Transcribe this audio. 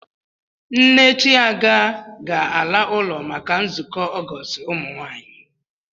Nne Chiaga ga-ala ụlọ maka nzukọ Ọgọọst ụmụnwaanyị.